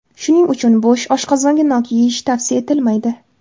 Shuning uchun bo‘sh oshqozonga nok yeyish tavsiya etilmaydi.